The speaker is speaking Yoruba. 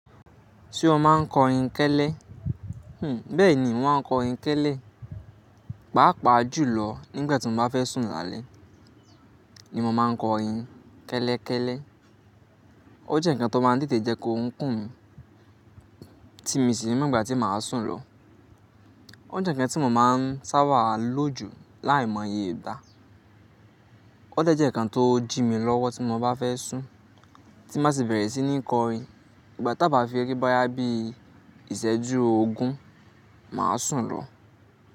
Tí ó máa ń kọrin kẹ́lẹ́, hm, bẹ́ẹ̀ni mo máa ń kọrin kẹ́lẹ́. Pàápàá jùlọ nígbà tí mo bá fẹ́ sùn lálẹ́ ni mo máa ń kọrin kẹ́lẹ́kẹ́lẹ́. Ó jẹ́ ǹkan tó máa ń tètè jẹ́ kó orun kùn mí, tí mi sì ni ní mọ gbà tí màá sùn lọ. Ó jẹ́ ǹkan tí mo máa ń sá bà á lójú láìmọye ìgbà. Ó tẹ́jẹ́ ǹkan tó jí mi lọ́wọ́ tí mo bá fẹ́ sùn, tí màá sì bẹ̀rẹ̀ sí ní kọrin. Ìgbà tá bá fi rí bí iṣẹ́jú ogún, màá sùn lọ.